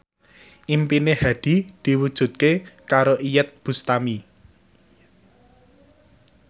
impine Hadi diwujudke karo Iyeth Bustami